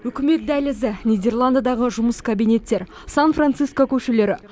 үкімет дәлізі нидерландыдағы жұмыс кабинеттері сан франциско көшелері